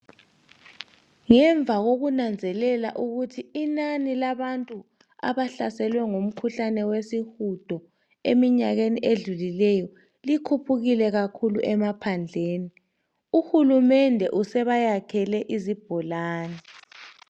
Ngemva kokunanzelela ukuthi inani labantu abahlaselwe ngumkhuhlane wesiwudo eminyakeni edlulileyo likhuphukile kakhulu emaphandleni. Uhulumende usebayakhele izibholani.